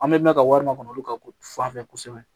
An bɛ mɛn ka wari makɔnɔ olu ka fanfɛ kosɛbɛ